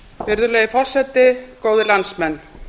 virðulegi forseti góðir landsmenn